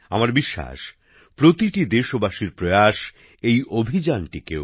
আমার বিশ্বাস প্রতিটি দেশবাসীর উদ্যোগ এই অভিযানটিকেও